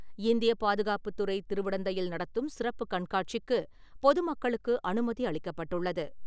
இந்திய பாதுகாப்புத்துறை திருவிடந்தையில் நடத்தும் சிறப்பு கண்காட்சிக்கு, பொதுமக்களுக்கு அனுமதி அளிக்கப்பட்டுள்ளது.